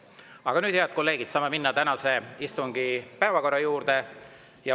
Aga nüüd, head kolleegid, saame minna tänase istungi päevakorra juurde.